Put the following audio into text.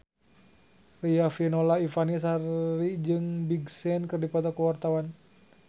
Riafinola Ifani Sari jeung Big Sean keur dipoto ku wartawan